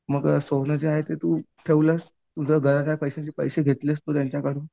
मग सोनं जे आहे ते तू तुझी गरज आहे पैश्याची घेतलीस पैसे त्याच्याकडनं